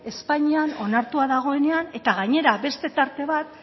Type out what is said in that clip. espainian onartua dagoenean eta gainera beste tarte bat